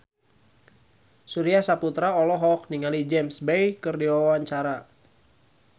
Surya Saputra olohok ningali James Bay keur diwawancara